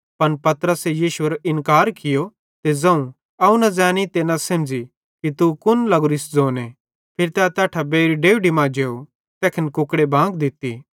पन पतरसे यीशुएरो इन्कार कियो ते ज़ोवं अवं न ज़ैनी ते न सेमझ़ी कि तू कुन लगोरिस ज़ोने फिरी तै तैट्ठां बेइर डेवढी मां जेव तैखन कुकड़े बांग दित्ती